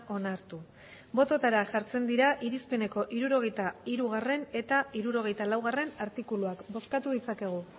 onartu botoetara jartzen dira irizpeneko hirurogeita hirugarrena eta hirurogeita laugarrena artikuluak bozkatu dezakegu